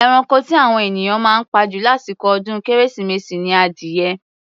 Eranko tí àwọn ènìyàn máa ń pa jù lásìkò ọdún kérésìmesì ni adìyẹ.